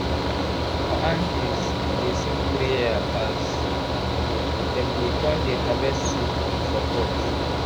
our aunties dey sing prayer as dem dey turn di harvest soup for pot.